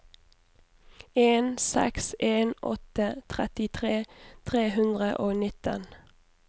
en seks en åtte trettitre tre hundre og nitten